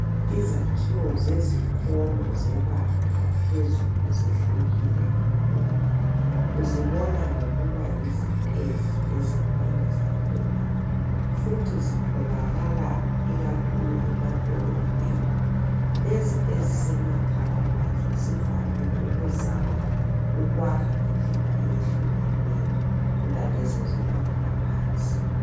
Izakhiwo zezikolo zebanga laphezulu zehlukile kakhulu uzibona ngokuba yozitezi ezinengi zakhona futhi ezitholakala ikakhulu emadolobheni lezi ezisemakhaya zivame ukuzama ukwakha ngendlela eyehlukeneyo kulalezi ezibanga eliphansi